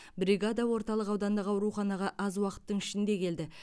бригада орталық аудандық ауруханаға аз уақыттың ішінде келді